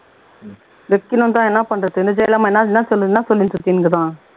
வைக்கனும்தான் என்ன பண்றது என்ன என்ன சொல்லிட்டு இருக்குது